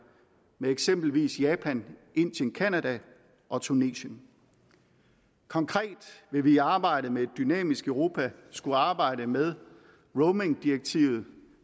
med eksempelvis japan indien canada og tunesien konkret vil vi i arbejdet med et dynamisk europa skulle arbejde med roamingdirektivet